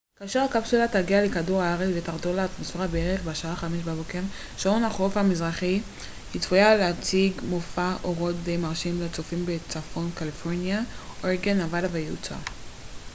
כאשר הקפסולה תגיע לכדור הארץ ותחדור אל האטמוספירה בערך בשעה 5 בבוקר שעון החוף המזרחי היא צפויה להציג מופע אורות די מרשים לצופים בצפון קליפורניה אורגון נבדה ויוטה